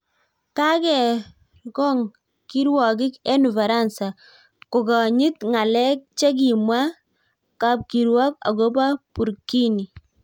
Kakekergong kirwogik eng ufaransa kokanyiit ng'aleek chekimwaa kapkirwok akoboo Burkini